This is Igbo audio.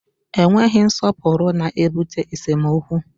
Enweghị nsọpụrụ na-ebute esemokwu